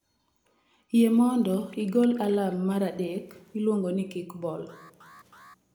Yie mondo igol alarm mar adek miluongo ni kickball